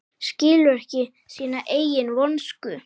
Skilur ekki sína eigin vonsku.